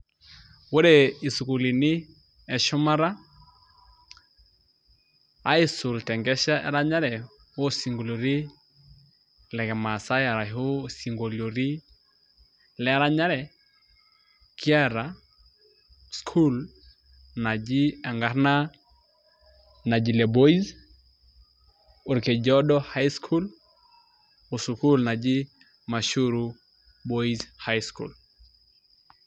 Ore isikulini eshumata aisul tenkesha eranyare osinkoloitin le kimaasai arashu sinkoloitin lee ranyare kiata sukuul najii enkarna Najile boys, Orkejuado Highschool oo sukuul najii Mashuru boys highschool.